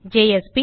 JSP